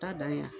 Taa dan ye